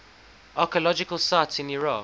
archaeological sites in iraq